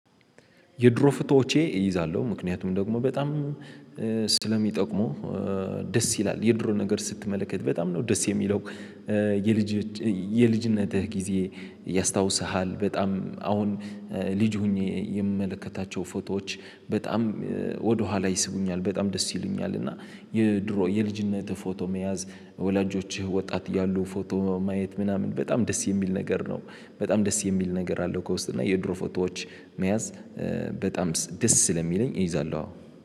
የድሮ ፎቶዎቼን እይዛለሁ ምክንያቱም ደግሞ በጣም ስለሚጠቅሙ ደስ ይላል የድሮ ነገር ስትመለከት በጣም ነው ደስ የሚለው የልጅ የልጅነትህ ጊዜ ያስታውስሃል። በጣም አሁን ልጅ ሆኜ የምመለከታቸው ፎቶዎች በጣም ወደኋላ ይስቡኛል በጣም ደስ ይሉኛል። እና የድሮ የልጅነትህ ፎቶ መያዝ ወላጆችህ ወጣት እያሉ ፎቶ ማየት ምናምን በጣም ደስ የሚል ነገር ነው። በጣም ደስ የሚል ነገር አለው። ከውስጥ እና የድሮ ፎቶዎች መያዝ በጣም ደስ ስለሚለኝ እይዛለሁ አዎ